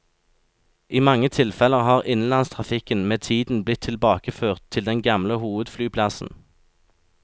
I mange tilfeller har innenlandstrafikken med tiden blitt tilbakeført til den gamle hovedflyplassen.